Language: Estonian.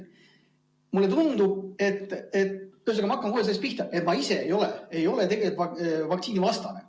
Ma ühesõnaga hakkan kohe sellest pihta, et ma ise ei ole tegelikult vaktsiinivastane.